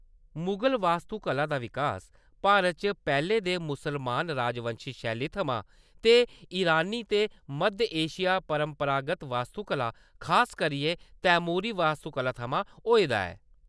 मुगल वास्तुकला दा विकास भारत च पैह्‌‌‌ले दे मुसलमान राजवंशी शैली थमां ते ईरानी ते मद्ध एशिया परंपरागत वास्तुकला, खास करियै तैमूरी वास्तुकला थमां होए दा ऐ।